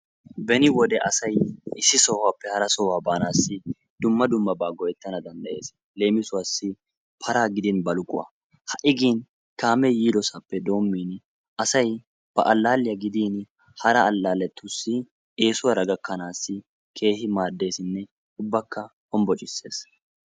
Beni wode asay issi sohuwappe ahara sohuwaa baanaw dumma dummaba go'etanaw danddayes, leemisuwassi para gidin baluquwaa. ha'i gin kaame yidasappe dommin asay ba alalliya gidin hara alalletussi eessuwara gakanassi keehin maaddesinne homboccisees.